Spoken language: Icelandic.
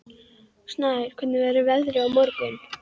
Snær, hvernig verður veðrið á morgun?